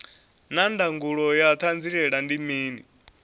naa ndangulo ya hanziela ndi mini